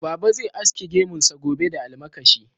Baba zai aske gemunsa gobe da almakashi.